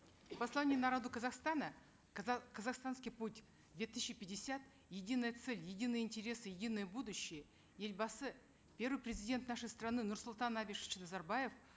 в послании народу казахстана казахстанский путь две тысячи пятьдесят единая цель единые интересы единое будущее елбасы первый президент нашей страны нурсултан абишевич назарбаев